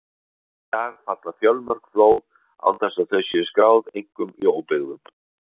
Enn í dag falla fjölmörg flóð án þess að þau séu skráð, einkum í óbyggðum.